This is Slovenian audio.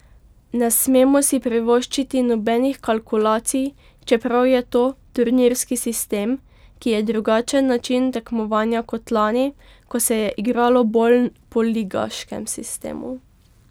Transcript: Ne smemo si privoščiti nobenih kalkulacij, čeprav je to turnirski sistem, ki je drugačen način tekmovanja kot lani, ko se je igralo bolj po ligaškem sistemu.